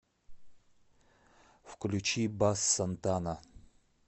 включи басс сантана